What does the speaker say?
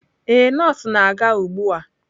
Ee, nọọsụ na-aga ugbu a.